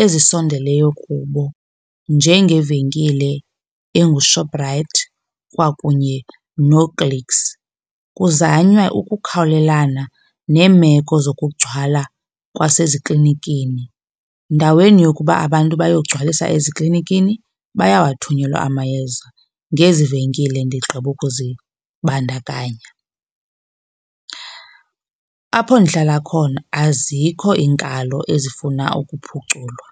ezisondeleyo kubo njengevenkile enguShoprite kwakunye nooClicks. Kuzanywa ukukhawulelana neemeko zokugcwala kwaseziklinikini. Bdaweni yokuba abantu bayogcwalisa eziklinikini bayawathunyelwa amayeza ngezi venkile ndigqiba ukuzibandakanya. Apho ndihlala khona azikho iinkalo ezifuna ukuphuculwa.